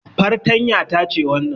Fartanya ta ce wannan